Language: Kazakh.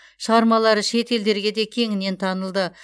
шығармалары шет елдерге де кеңінен танылды